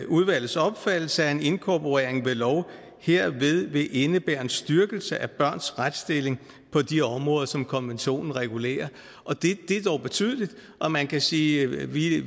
udvalgets opfattelse at en inkorporering ved lov herved vil indebære en styrkelse af børns retsstilling på de områder som konventionen regulerer det er dog betydeligt og man kan sige at vi